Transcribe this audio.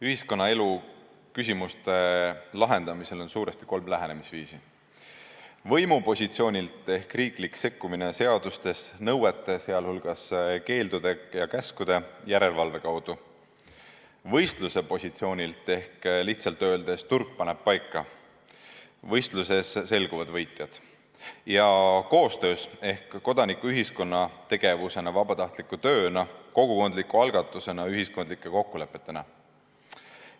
Ühiskonnaelu küsimuste lahendamisel on suuresti kolm lähenemisviisi: võimupositsioonilt, s.o riiklik sekkumine seaduste, nõuete, sh keeldude ja käskude, järelevalve kaudu; võistluse positsioonilt ehk lihtsalt öeldes turg paneb paika ja võistluses selguvad võitjad; koostöös ehk kodanikuühiskonna tegevusena, vabatahtliku tööna, kogukondliku algatusena, ühiskondlike kokkulepetena.